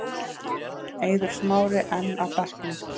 Eiður Smári enn á bekknum